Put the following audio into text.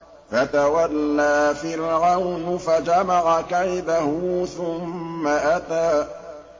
فَتَوَلَّىٰ فِرْعَوْنُ فَجَمَعَ كَيْدَهُ ثُمَّ أَتَىٰ